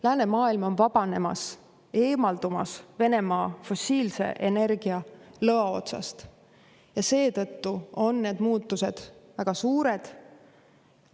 Läänemaailm on vabanemas, eemaldumas Venemaa fossiilse energia lõa otsast ja seetõttu on need muutused väga suured.